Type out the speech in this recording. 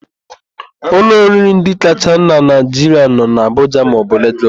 Ụlọ oriri ndị kacha na Naịjiria nọ n'Abụja maọbụ Lagos.